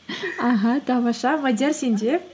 аха тамаша мадиар сенде